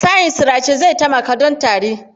Shayin sirace zai taimaka don tari.